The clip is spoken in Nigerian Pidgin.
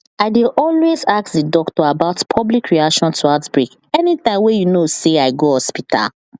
i dey always ask the doctor about public reaction to outbreak anytym wey you know say i go hospital